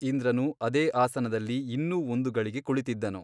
ಇಂದ್ರನು ಅದೇ ಆಸನದಲ್ಲಿ ಇನ್ನೂ ಒಂದು ಗಳಿಗೆ ಕುಳಿತಿದ್ದನು.